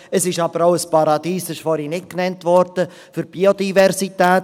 Es ist aber auch ein Paradies – das wurde vorhin nicht genannt – für die Biodiversität.